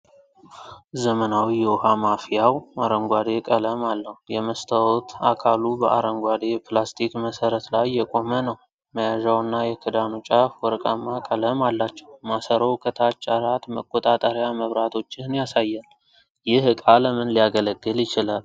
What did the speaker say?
ዘመናዊ የውኃ ማፍያው አረንጓዴ ቀለም አለው። የመስታወት አካሉ በአረንጓዴ የፕላስቲክ መሠረት ላይ የቆመ ነው፣ መያዣውና የክዳኑ ጫፍ ወርቃማ ቀለም አላቸው፤ ማሰሮው ከታች አራት መቆጣጠሪያ መብራቶችን ያሳያል፤ ይህ ዕቃ ለምን ሊያገለግል ይችላል?